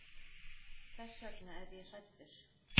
Þess vegna er ég hræddur.